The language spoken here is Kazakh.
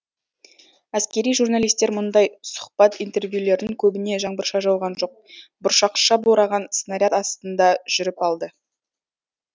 әскери журналистер мүндай сұхбат интервьюлерін көбіне жаңбырша жауған жоқ бұршақша бораған снаряд астында жүріп алды